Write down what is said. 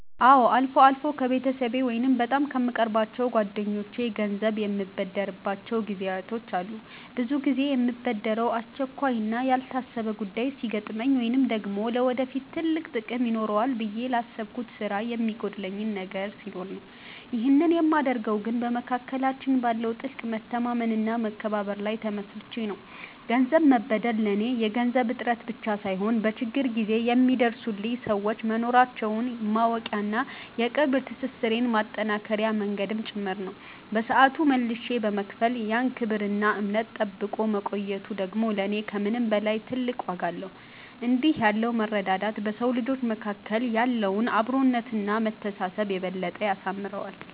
አዎ፣ አልፎ አልፎ ከቤተሰብ ወይም በጣም ከምቀርባቸው ጓደኞቼ ገንዘብ የምበደርባቸው ጊዜያት አሉ። ብዙ ጊዜ የምበደረው አስቸኳይና ያልታሰበ ጉዳይ ሲገጥመኝ ወይም ደግሞ ለወደፊት ትልቅ ጥቅም ይኖረዋል ብዬ ላሰብኩት ስራ የሚጎድለኝ ነገር ሲኖር ነው። ይህንን የማደርገው ግን በመካከላችን ባለው ጥልቅ መተማመንና መከባበር ላይ ተመስርቼ ነው። ገንዘብ መበደር ለኔ የገንዘብ እጥረት ብቻ ሳይሆን፣ በችግር ጊዜ የሚደርሱልኝ ሰዎች መኖራቸውን ማወቂያና የቅርብ ትስስሬን ማጠናከሪያ መንገድም ጭምር ነው። በሰዓቱ መልሼ በመክፈል ያን ክብርና እምነት ጠብቆ መቆየቱ ደግሞ ለኔ ከምንም በላይ ትልቅ ዋጋ አለው። እንዲህ ያለው መረዳዳት በሰው ልጆች መካከል ያለውን አብሮነትና መተሳሰብ የበለጠ ያሳምረዋል።